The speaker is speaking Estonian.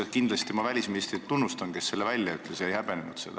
Ma kindlasti tunnustan välisministrit, kes selle välja ütles ja seda ei häbenenud.